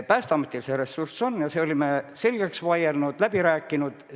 Päästeametil see ressurss on ja selle oleme me nüüd selgeks vaielnud, läbi rääkinud.